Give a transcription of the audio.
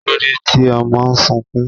Kílódé tí ọmọ sunkún?